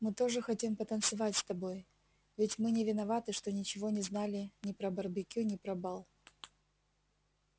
мы тоже хотим потанцевать с тобой ведь мы не виноваты что ничего не знали ни про барбекю ни про бал